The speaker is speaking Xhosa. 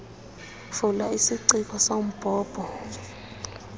vala isiciko sombhobho